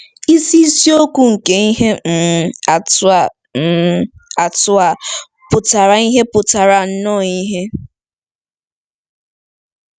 Isi isiokwu nke ihe um atụ a um atụ a pụtara ìhè pụtara nnọọ ìhè.